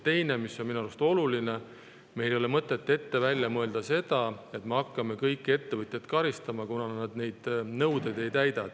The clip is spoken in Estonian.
Teiseks on minu arust oluline, et meil ei ole mõtet ette välja mõelda seda, nagu me hakkaksime kõiki ettevõtjaid karistama, kuna nad neid nõudeid ei täida.